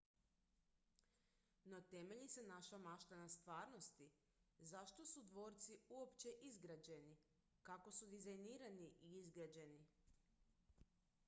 no temelji li se naša mašta na stvarnosti zašto su dvorci uopće izgrađeni kako su dizajnirani i izgrađeni